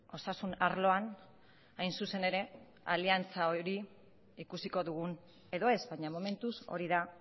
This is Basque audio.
osasun arloan hain zuzen ere aliantza hori ikusiko dugun edo ez baina momentuz hori da